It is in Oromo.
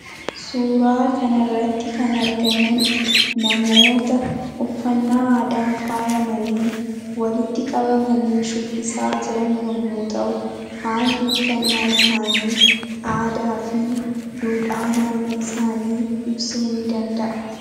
Suuraa kanarratti kan argaman namoota uffannaa aadaan faayamanii walitti qabamanii shubbisaa jiran yommuu ta'u, haalli uffannaa isaanii aadaa fi duudhaa naannoo isaanii ibsuu ni danda'a.